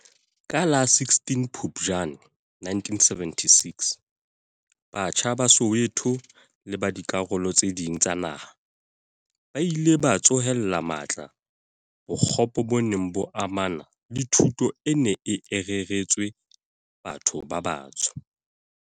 Ka la 16 Phupjane 1976, batjha ba Soweto le ba dikarolo tse ding tsa naha ba ile ba tsohela matla bo kgopo bo neng bo amana le thuto e neng ereretswe batho ba batsho.